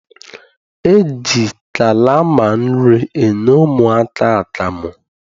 E ji kalama nri enye ụmụaka akamụ.